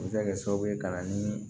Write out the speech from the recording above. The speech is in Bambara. U bɛ se ka kɛ sababu ye ka na ni